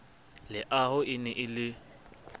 leaho e ne e le